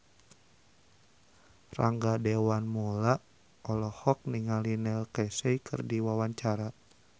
Rangga Dewamoela olohok ningali Neil Casey keur diwawancara